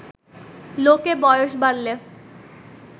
লোকে বয়স বাড়লে